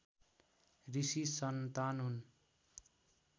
ऋषि सन्तान हुन्